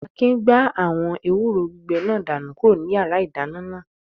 Akin gbá àwọn ewúro gbígbẹ náà dànù kúrò ní yàrá-ìdáná náà